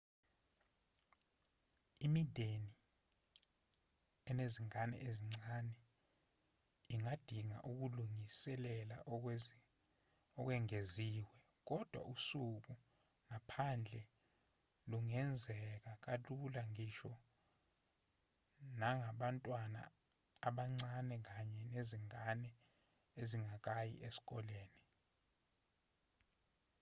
imindeni enezingane ezincane ingadinga ukulingiselela okwengeziwe kodwa usuku ngaphandle lungenzeka kalula ngisho nangabantwana abancane kanye nezingane ezingakayi esikoleni